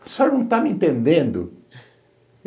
O senhor não está me entendendo?